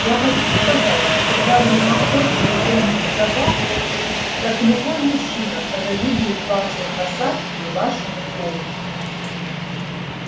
я хочу сказать что когда вы на охоте и гоните собак так любой мужчина позавидует вашей посадке и вашему голосу